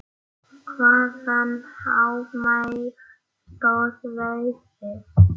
Hvaðan á mig stóð veðrið.